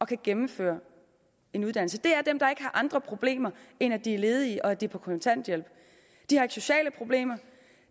kan gennemføre en uddannelse det er dem der ikke har andre problemer end at de ledige og at de er på kontanthjælp de har ikke sociale problemer